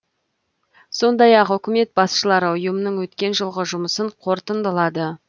сондай ақ үкімет басшылары ұйымның өткен жылғы жұмысын қорытындылады